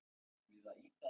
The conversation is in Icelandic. Ég vona það og trúi því